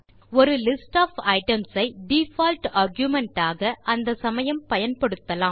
ஒரு list of items ஐ default argument ஆக அந்த சமயம் பயன்படுத்தலாம்